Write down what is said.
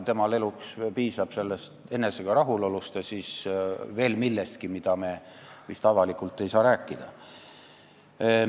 Temal piisab enesega rahulolust ja veel millestki, millest me vist avalikult ei saa rääkida.